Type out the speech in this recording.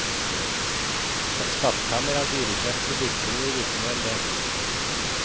Et skattkammer av dyrekjøpte dikterord vitner om det.